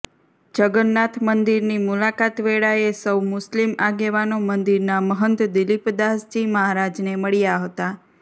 જગન્નાથ મંદિરની મુલાકાત વેળાએ સૌ મુસ્લિમ આગેવાનો મંદિરના મહંત દિલીપદાસજી મહારાજને મળ્યા હતા